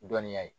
Dɔnniya ye